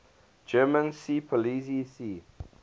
german seepolizei sea